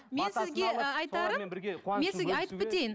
мен сізге ы айтарым айтып кетейін